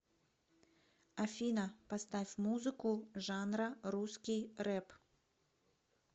афина поставь музыку жанра русский рэп